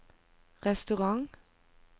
restaurant